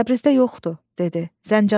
Təbrizdə yoxdu, dedi, Zəncana gedib.